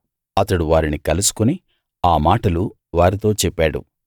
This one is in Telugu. అతడు వారిని కలుసుకుని ఆ మాటలు వారితో చెప్పాడు